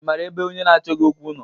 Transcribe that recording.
Ị maara ebe onye na-achọ gị okwu nọ?